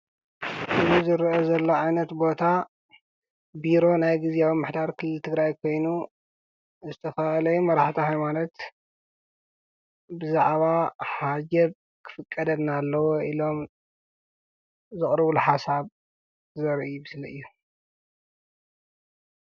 እዚ ዝርአ ዘሎ ዓይነት ቦታ ቢሮ ናይ ጊዜኣዊ ምምሕዳር ክልል ትግራይ ኮይኑ ንዝተፋላለዩ መራሕቲ ሃይማኖት ብዛዕባ ሕጃብ ክፍቀደና ኣለዉ ኢሎም ዘቕርብሉ ሓሳብ ዘርኢ ምስሊ እዩ።